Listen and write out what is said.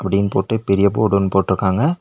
Theme போட்டு பெரிய board ஒன்னு போட்டுருக்காங்க.